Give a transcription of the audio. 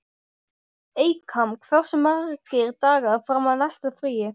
Eykam, hversu margir dagar fram að næsta fríi?